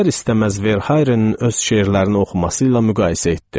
İstər-istəməz Verhaerenin öz şeirlərini oxuması ilə müqayisə etdim.